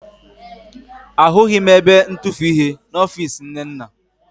Ahụghị m ebe ntufuihe n'ọfiisi Nnenna